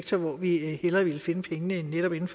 som vi har en grim